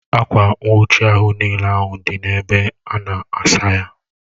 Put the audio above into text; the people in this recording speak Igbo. Akwa nwuchi ahu n'ile ahu di n'ebe ana asaya